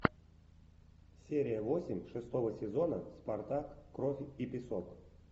серия восемь шестого сезона спартак кровь и песок